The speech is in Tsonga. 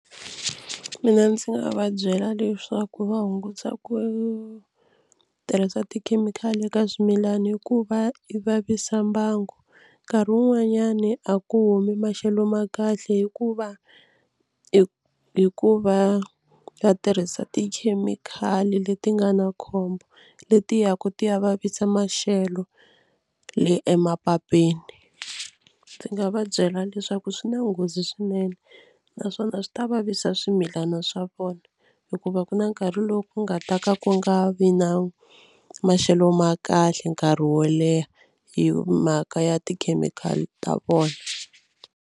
Mina ndzi nga va byela leswaku va hunguta ku tirhisa tikhemikhali eka swimilana hikuva i vavisa mbangu. Nkarhi wun'wanyani a ku humi maxelo ma kahle hikuva hi hikuva va tirhisa tikhemikhali leti nga na khombo leti yaku ti ya vavisa maxelo le emapapeni. Ndzi nga va byela leswaku swi na nghozi swinene naswona swi ta vavisa swimilana swa vona hikuva ku na nkarhi lowu ku nga ta ka ku nga vi na maxelo ma kahle nkarhi wo leha hi mhaka ya tikhemikhali ta vona.